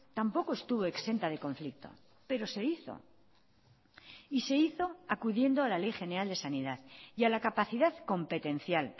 tampoco estuvo exenta de conflicto pero se hizo y se hizo acudiendo a la ley general de sanidad y a la capacidad competencial